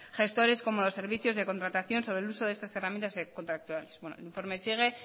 gestores como a los servicios de contratación sobre el uso de estas herramientas contractuales el informe sigue